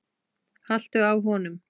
haltu á honum!